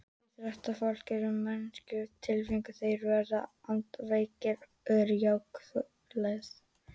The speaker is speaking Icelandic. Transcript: Íþróttafólk eru manneskjur með tilfinningar Þeir sem verða andlega veikir eru þverskurður þjóðfélagsins.